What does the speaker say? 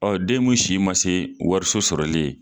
Ɔɔ den mun si ma se wariso sɔrɔli ye